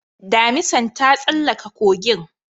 Damisan ta tsallaka kogin